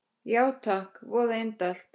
Já takk, voða indælt